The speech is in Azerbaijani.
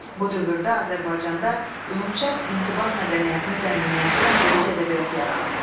Bu dövrdə Azərbaycanda ümumşərq intibah mədəniyyətini zənginləşdirən böyük ədəbiyyat yaranıb.